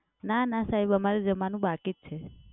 ના ના સાહેબ અમારે જમવાનું બાકી જ છે.